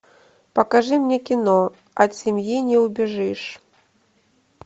покажи мне кино от семьи не убежишь